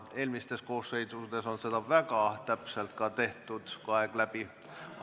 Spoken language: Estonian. Eelmistes koosseisudes on seda väga täpselt tehtud, kui aeg on läbi.